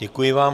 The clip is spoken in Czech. Děkuji vám.